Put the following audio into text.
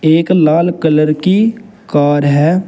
एक लाल कलर की कार है।